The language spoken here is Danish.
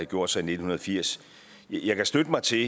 gjort sig i nitten firs jeg kan støtte mig til